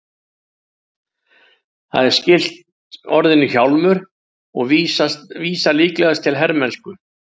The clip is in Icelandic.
Það er skylt orðinu hjálmur og vísar líklegast til hermennsku.